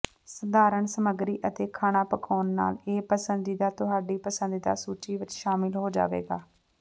ਸਧਾਰਨ ਸਮੱਗਰੀ ਅਤੇ ਖਾਣਾ ਪਕਾਉਣ ਨਾਲ ਇਹ ਪਸੰਦੀਦਾ ਤੁਹਾਡੀ ਪਸੰਦੀਦਾ ਸੂਚੀ ਵਿੱਚ ਸ਼ਾਮਿਲ ਹੋ ਜਾਵੇਗਾ